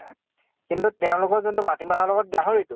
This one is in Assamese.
কিন্তু তেওঁলোকৰ কিন্তু মাটি মাহৰ লগ্ত গাহৰীটো